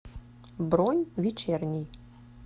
бронь вечерний